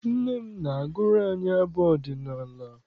Nne m na-agụrụ anyị abụ ọdịnala.